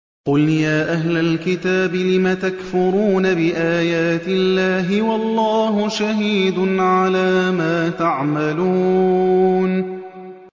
قُلْ يَا أَهْلَ الْكِتَابِ لِمَ تَكْفُرُونَ بِآيَاتِ اللَّهِ وَاللَّهُ شَهِيدٌ عَلَىٰ مَا تَعْمَلُونَ